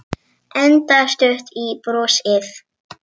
Enda stutt í brosið.